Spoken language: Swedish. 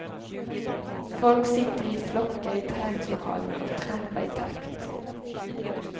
Folk sitter i flockar i träningslokalerna och trampar i takt.